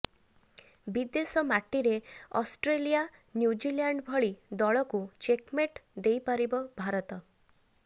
ବିଦେଶ ମାଟିରେ Australia New Zealand ଭଳି ଦଳକୁ ଚେକମେଟ୍ ଦେଇ ପାରିବ ଭାରତ